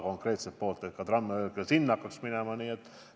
Konkreetselt peetakse silmas Tabasalu, soovitakse, et tramm hakkaks ka sinna sõitma.